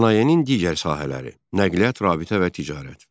Sənayenin digər sahələri: Nəqliyyat, rabitə və ticarət.